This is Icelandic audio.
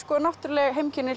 náttúruleg heimkynni